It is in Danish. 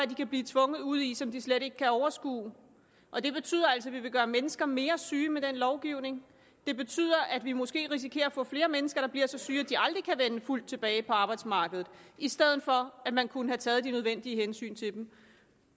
de kan blive tvunget ud i som de slet ikke kan overskue og det betyder altså at vi vil gøre mennesker mere syge med den lovgivning det betyder at vi måske risikerer at få flere mennesker der bliver så syge at de aldrig kan vende fuldt tilbage på arbejdsmarkedet i stedet for at man kunne have taget de nødvendige hensyn til dem